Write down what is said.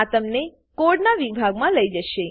આ તમને કોડનાં વિભાગમાં લઇ જશે